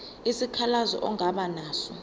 isikhalazo ongaba naso